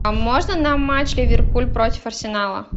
а можно нам матч ливерпуль против арсенала